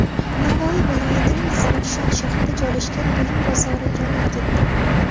Navoiy viloyatining Zarafshon shahrida joylashgan buyum bozori yonib ketdi.